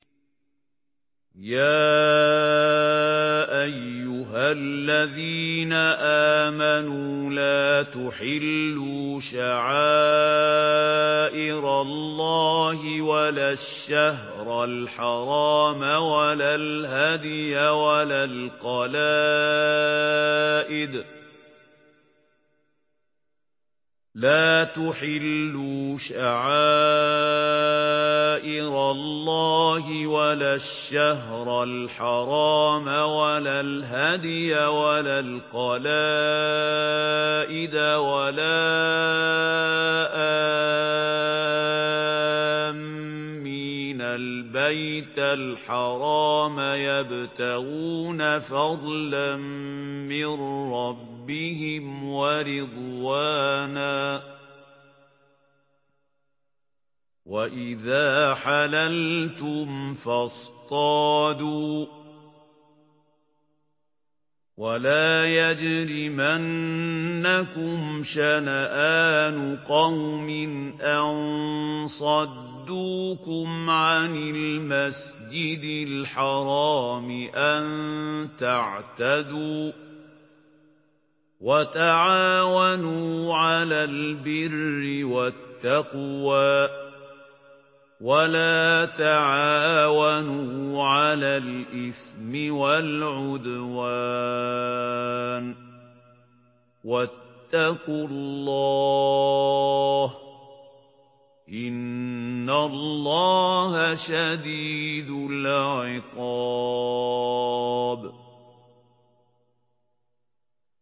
يَا أَيُّهَا الَّذِينَ آمَنُوا لَا تُحِلُّوا شَعَائِرَ اللَّهِ وَلَا الشَّهْرَ الْحَرَامَ وَلَا الْهَدْيَ وَلَا الْقَلَائِدَ وَلَا آمِّينَ الْبَيْتَ الْحَرَامَ يَبْتَغُونَ فَضْلًا مِّن رَّبِّهِمْ وَرِضْوَانًا ۚ وَإِذَا حَلَلْتُمْ فَاصْطَادُوا ۚ وَلَا يَجْرِمَنَّكُمْ شَنَآنُ قَوْمٍ أَن صَدُّوكُمْ عَنِ الْمَسْجِدِ الْحَرَامِ أَن تَعْتَدُوا ۘ وَتَعَاوَنُوا عَلَى الْبِرِّ وَالتَّقْوَىٰ ۖ وَلَا تَعَاوَنُوا عَلَى الْإِثْمِ وَالْعُدْوَانِ ۚ وَاتَّقُوا اللَّهَ ۖ إِنَّ اللَّهَ شَدِيدُ الْعِقَابِ